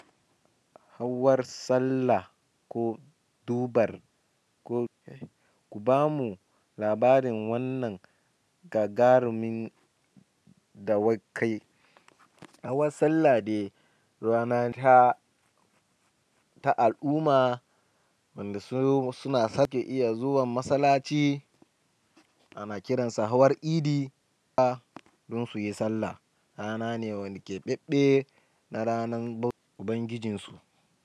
Hawar sallah ko dubar ko ku bamu labarin wannan gagarumin dawakai. Hawar sallah de rana ta al'umma wanda suna sake iya zuwan masallaci ana kiransa hawar Idi don su yi sallah. Rana ne wanda keɓabɓe na ranar Ubangijinsu.